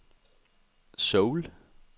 Seoul